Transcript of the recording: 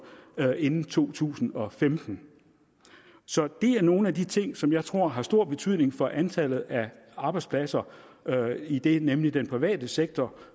inden to tusind og femten så det er nogle af de ting som jeg tror har stor betydning for antallet af arbejdspladser idet nemlig den private sektor